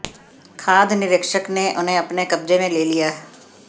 खाद्य निरीक्षक ने उन्हें अपने कब्जे में ले लिया